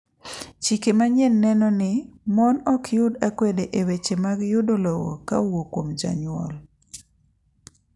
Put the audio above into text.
Chike manyien neno ni mon ok yud akwede e weche mag yudo lowo ka owuok kuom jonyuol .